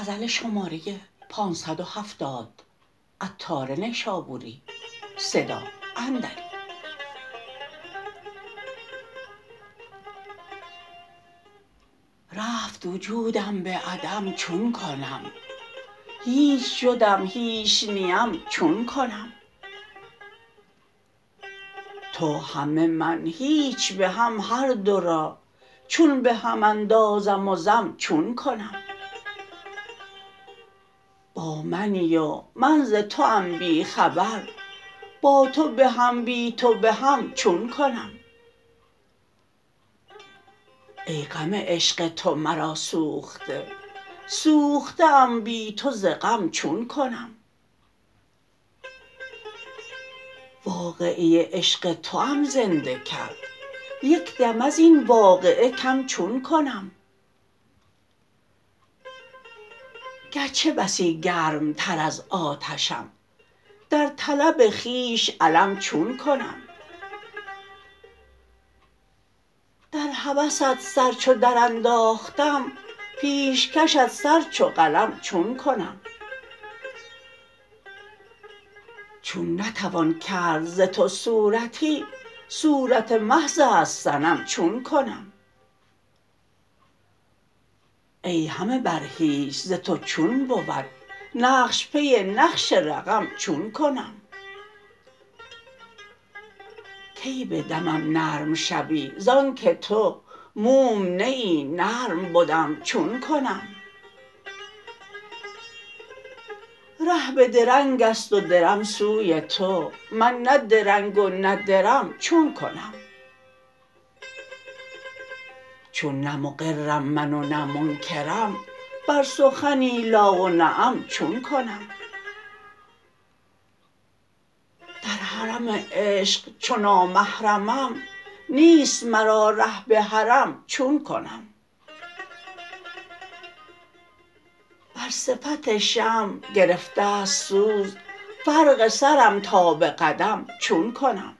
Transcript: رفت وجودم به عدم چون کنم هیچ شدم هیچ نیم چون کنم تو همه من هیچ به هم هر دو را چون به هم اندازم وضم چون کنم با منی و من ز توام بی خبر با تو بهم بی تو بهم چون کنم ای غم عشق تو مرا سوخته سوخته ام بی تو ز غم چون کنم واقعه عشق توام زنده کرد یکدم ازین واقعه کم چون کنم گرچه بسی گرم تر از آتشم در طلب خویش علم چون کنم در هوست سر چو درانداختم پیش کشت سر چو قلم چون کنم چون نتوان کرد ز تو صورتی صورت محض است صنم چون کنم ای همه بر هیچ ز تو چون بود نقش پی نقش رقم چون کنم کی به دمم نرم شوی زانکه تو موم نه ای نرم بدم چون کنم ره به درنگ است و درم سوی تو من نه درنگ و نه درم چون کنم چون نه مقرم من و نه منکرم بر سخنی لا و نعم چون کنم در حرم عشق چو نامحرمم نیست مرا ره به حرم چون کنم بر صفت شمع گرفتست سوز فرق سرم تا به قدم چون کنم